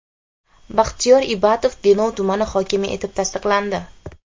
Baxtiyor Ibatov Denov tumani hokimi etib tasdiqlandi.